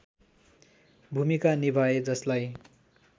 भूमिका निभाए जसलाई